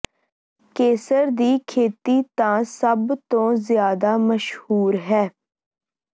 ਕੇਸਰ ਦੀ ਖੇਤੀ ਤਾਂ ਸਭ ਤੋਂ ਜ਼ਿਆਦਾ ਮਸ਼ਹੂਰ ਹੈ